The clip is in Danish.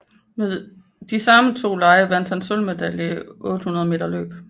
Ved de samme to lege vandt han sølvmedaljen i 800 meter løb